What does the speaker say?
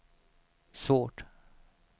svårt